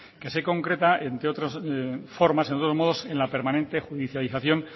que se concreta entre otras formas en otros modos en la permanente judicialización